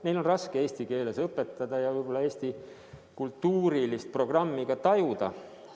Neil on raske eesti keeles õpetada ja võib-olla ka Eesti kultuurilist programmi tajuda.